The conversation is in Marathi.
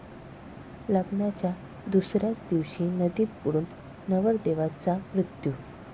लग्नाच्या दुसऱ्याच दिवशी नदीत बुडून नवरदेवाचा मृत्यू